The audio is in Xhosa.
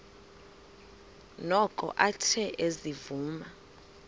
noko athe ezivuma